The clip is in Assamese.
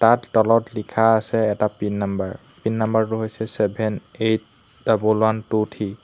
তাত তলত লিখা আছে এটা পিন নম্বৰ পিন নম্বৰটো হৈছে seven eight double one two three.